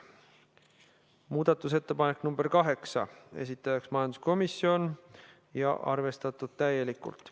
Muudatusettepanek nr 8, esitanud majanduskomisjon ja arvestatud täielikult.